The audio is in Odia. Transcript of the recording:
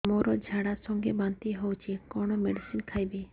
ମୋର ଝାଡା ସଂଗେ ବାନ୍ତି ହଉଚି କଣ ମେଡିସିନ ଖାଇବି